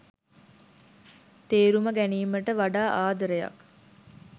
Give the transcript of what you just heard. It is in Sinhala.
තේරුම ගැනීමට වඩා ආදරයක්.